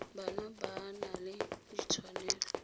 bana ba na le ditshwanelo